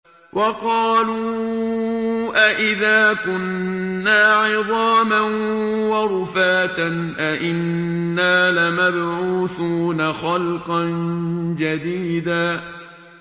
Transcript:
وَقَالُوا أَإِذَا كُنَّا عِظَامًا وَرُفَاتًا أَإِنَّا لَمَبْعُوثُونَ خَلْقًا جَدِيدًا